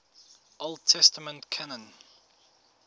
old testament canon